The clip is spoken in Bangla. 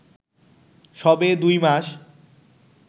সবে দুই মাস